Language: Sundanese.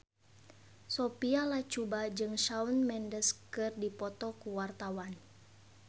Sophia Latjuba jeung Shawn Mendes keur dipoto ku wartawan